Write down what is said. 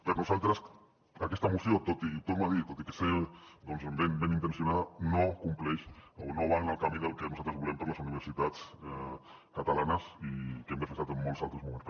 per nosaltres aquesta moció ho torno a dir tot i ser benintencionada no compleix o no va en el camí del que nosaltres volem per a les universitats catalanes i que hem defensat en molts altres moments